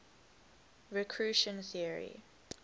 recursion theory